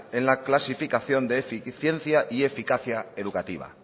en la clasificación de eficiencia y eficacia educativa